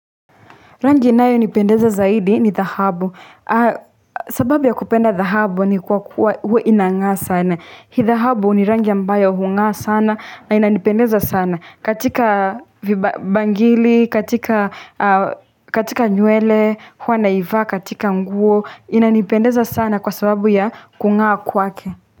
Rangi inayo nipendeza zaidi ni dhahabu, sababu ya kupenda dhahabu ni kwa kuwa huwa inangaa sana, hii dhahabu ni rangi ambayo hungaa sana na inanipendeza sana, katika vibangili, katika nywele, huwa naivaa, katika nguo, inanipendeza sana kwa sababu ya kungaa kwake.